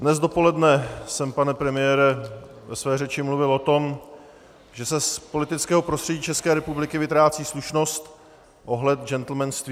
Dnes dopoledne jsem, pane premiére, ve své řeči mluvil o tom, že se z politického prostředí České republiky vytrácí slušnost, ohled, džentlmenství.